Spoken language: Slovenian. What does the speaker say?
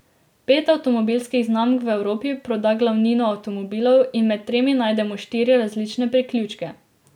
Pet avtomobilskih znamk v Evropi proda glavnino avtomobilov in med temi najdemo štiri različne priključke.